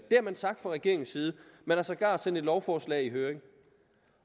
har man sagt fra regeringens side man har sågar sendt et lovforslag i høring